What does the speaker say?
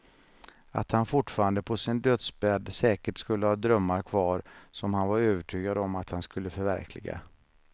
Att han fortfarande på sin dödsbädd säkert skulle ha drömmar kvar som han var övertygad om att han skulle förverkliga.